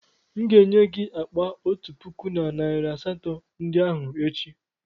M ga-enye gị akpa otu puku na narị asatọ ndị ahụ echi.